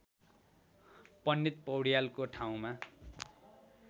पण्डित पौड्यालको ठाउँमा